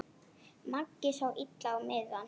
Maggi sá illa á miðann.